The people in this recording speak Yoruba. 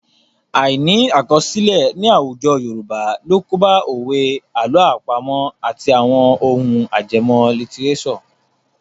Àìní àkọsílẹ̀ ní àwùjọ Yorùbá ló kóbá òwe, àlọ́ àpamọ̀ àti àwọn ohun ajẹmọ́ lítíréṣọ̀.